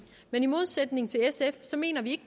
men i modsætning til sf mener vi